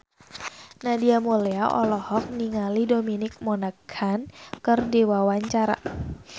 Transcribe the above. Nadia Mulya olohok ningali Dominic Monaghan keur diwawancara